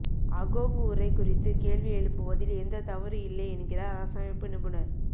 Agong உரை குறித்து கேள்வி எழுப்புவதில் எந்தத் தவறு இல்லை என்கிறார் அரசமைப்பு நிபுணர்